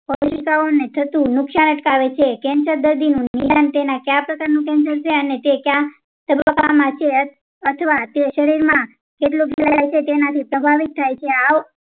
ને થતું નુકસાન અટકાવે છે cancer દર્દીનું નિદાન તેને કયા પ્રકારનું નુકસાન છે અને તે કયા તબક્કા માં છે અથવા તે શરીર માં કેટલું ફેલાયેલું છે તેનાથી પ્રભાવિત થાય છે આવ